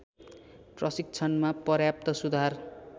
प्रशिक्षणमा पर्याप्त सुधार